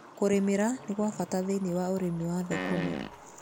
Kũrĩmĩra nĩ gwabata thĩiniĩ wa ũrĩmi wa thũkũma.